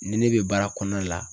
Ni ne bɛ baara kɔnɔna la.